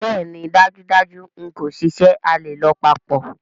Bẹẹni dajudaju n ko ṣiṣẹ, a le lọ papọ̀.